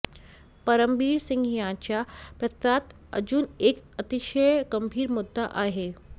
परमबीर सिंग यांच्या पत्रात अजून एक अतिशय गंभीर मुद्दा आहे